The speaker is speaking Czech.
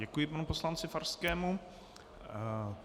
Děkuji panu poslanci Farskému.